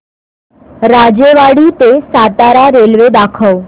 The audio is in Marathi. राजेवाडी ते सातारा रेल्वे दाखव